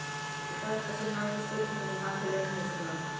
Í þetta sinn vakti spurningin hann til umhugsunar.